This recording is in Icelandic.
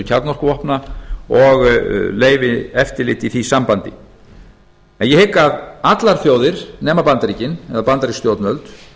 kjarnorkuvopna og leyfi eftirliti í því sambandi en ég hygg að allar þjóðir nema bandaríkin eða bandarísk stjórnvöld